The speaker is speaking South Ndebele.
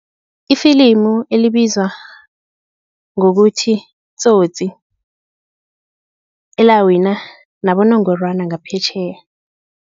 Ifilimu elibizwa ngokuthi-Tsotsi elawina nabonongorwana ngaphetjheya.